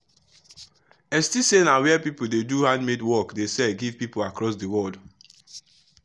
etsy na where people wey dey do handmade work dey sell give people across the world.